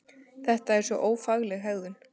Þetta er svo ófagleg hegðun!